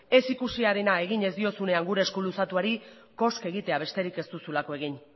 ez ikusiarena egin ez diozunean gure esku luzatuari koska egitea besterik ez duzulako egin